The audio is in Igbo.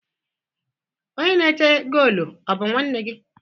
Onye na-eche goolu ọ̀ bụ nwanne gị?